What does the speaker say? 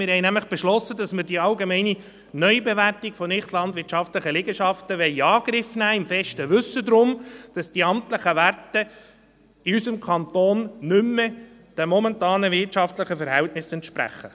Wir haben nämlich beschlossen, dass wir die allgemeine Neubewertung von nichtlandwirtschaftlichen Liegenschaften in Angriff nehmen wollen, im besten Wissen darum, dass die amtlichen Werte in unserem Kanton nicht mehr den momentanen wirtschaftlichen Verhältnissen entsprechen.